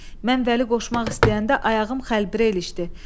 Mən Vəli qoşmaq istəyəndə ayağım xəlbirə ilişdi.